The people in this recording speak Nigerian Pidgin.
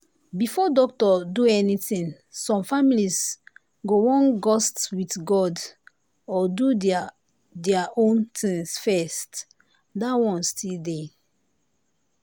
before doctor do anything some families go wan gust with god or do their their own things first that one still dey.